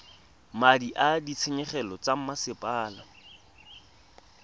madi a ditshenyegelo tsa mosepele